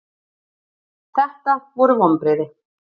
Þetta voru vonbrigði.